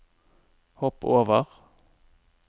hopp over